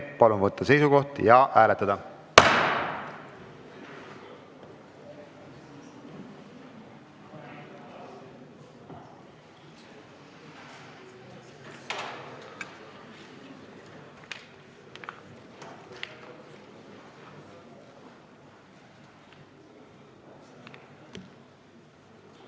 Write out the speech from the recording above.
Palun võtta seisukoht ja hääletada!